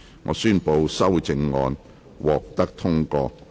我宣布修正案獲得通過。